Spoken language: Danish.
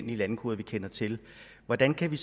landekoder vi kender til hvordan kan vi